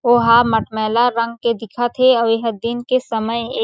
ओहा मटमैला रंग के दिखत हे अऊ एहा दिन के समय ए।